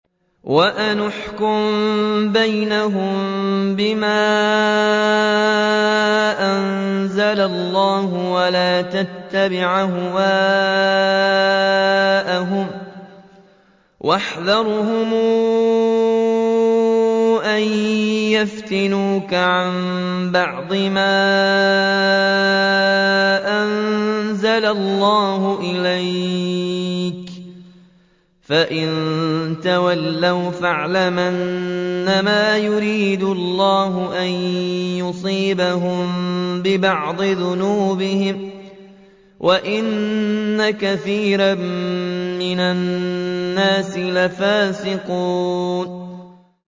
وَأَنِ احْكُم بَيْنَهُم بِمَا أَنزَلَ اللَّهُ وَلَا تَتَّبِعْ أَهْوَاءَهُمْ وَاحْذَرْهُمْ أَن يَفْتِنُوكَ عَن بَعْضِ مَا أَنزَلَ اللَّهُ إِلَيْكَ ۖ فَإِن تَوَلَّوْا فَاعْلَمْ أَنَّمَا يُرِيدُ اللَّهُ أَن يُصِيبَهُم بِبَعْضِ ذُنُوبِهِمْ ۗ وَإِنَّ كَثِيرًا مِّنَ النَّاسِ لَفَاسِقُونَ